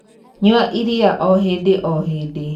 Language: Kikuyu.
Nyua iria o hīndī o hīndī.